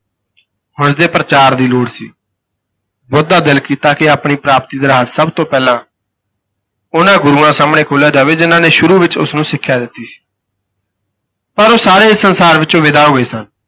ਹੁਣ ਇਸ ਦੇ ਪ੍ਰਚਾਰ ਦੀ ਲੋੜ ਸੀ, ਬੁੱਧ ਦਾ ਦਿਲ ਕੀਤਾ ਕਿ ਆਪਣੀ ਪ੍ਰਾਪਤੀ ਦਾ ਰਹੱਸ ਸਭ ਤੋਂ ਪਹਿਲਾਂ ਉਨ੍ਹਾਂ ਗੁਰੂਆਂ ਸਾਹਮਣੇ ਖੋਲ੍ਹਿਆ ਜਾਵੇ, ਜਿਨ੍ਹਾਂ ਨੇ ਸ਼ੁਰੂ ਵਿਚ ਉਸ ਨੂੰ ਸਿੱਖਿਆ ਦਿੱਤੀ ਸੀ। ਪਰ ਉਹ ਸਾਰੇ ਇਸ ਸੰਸਾਰ ਵਿਚੋਂ ਵਿਦਾ ਹੋਏ ਸਨ।